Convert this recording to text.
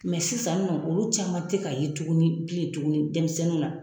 sisannɔ olu caman tɛ ka ye tuguni bilen tuguni denmisɛnninw na.